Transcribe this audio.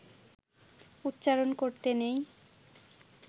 উচ্চারণ করতে নেই